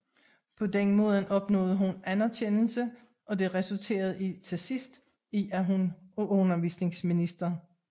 På denne måde opnåede hun anerkendelse og det resulterede til sidst i at hun af undervisningsminister J